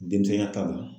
Denmisɛnya ta ma